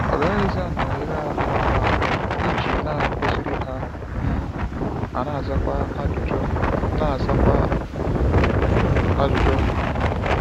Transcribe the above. Ọ gaghịzi anọnyere ha n’anụ ahụ́ iji na-akụziri ha um ma na-azakwa ajụjụ na-azakwa ajụjụ ha.